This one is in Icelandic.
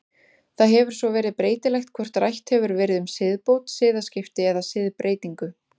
Það hefur svo verið breytilegt hvort rætt hefur verið um siðbót, siðaskipti eða siðbreytingu.